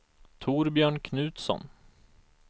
Torbjörn Knutsson